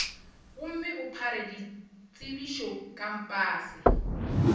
gomme o phare ditsebišo kampase